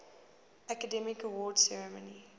academy awards ceremony